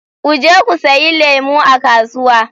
u je ku sayi lemu a kasuwa.